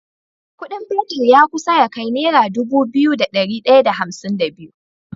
Ƙudin fetir ya kusa ya kai naira Dubu biyu da dari daya da hamsin da biyu